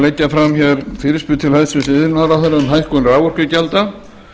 leggja fram hér fyrirspurn til hæstvirts iðnaðarráðherra um hækkun raforkugjalda